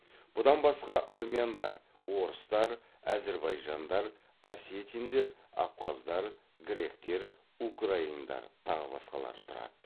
бұдан басқа армяндар орыстар әзірбайжандар осетиндер абхаздар гректер украиндар тағы басқалары тұрады